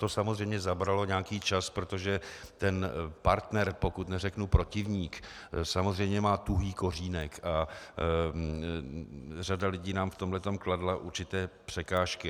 To samozřejmě zabralo nějaký čas, protože ten partner, pokud neřeknu protivník, samozřejmě má tuhý kořínek a řada lidí nám v tomhle kladla určité překážky.